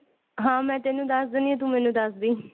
ਹਾਂ ਮੈਂ ਤੇਨੂੰ ਦੱਸ ਦਿੰਦੀ ਹਾਂ ਤੂੰ ਮੈਨੂੰ ਦੱਸ ਦੀ